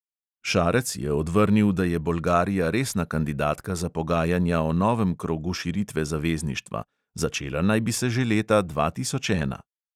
Šarec je odvrnil, da je bolgarija resna kandidatka za pogajanja o novem krogu širitve zavezništva; začela naj bi se že leta dva tisoč ena.